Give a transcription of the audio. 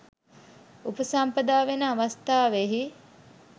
උපසම්පදා වන අවස්ථාවෙහි